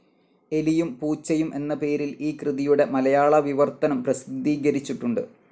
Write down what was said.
എലിയും പൂച്ചയും എന്ന പേരിൽ ഈ കൃതിയുടെ മലയാള വിവർത്തനം പ്രസിദ്ധീകരിച്ചിട്ടുണ്ട്.